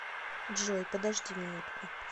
джой подожди минутку